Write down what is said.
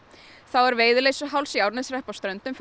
er Veiðileysuháls í Árneshreppi á Ströndum